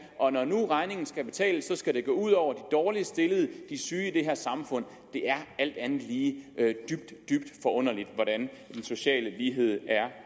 og når nu regningen skal betales skal det gå ud over de dårligst stillede de syge i det her samfund det er alt andet lige dybt dybt forunderligt hvordan den sociale lighed er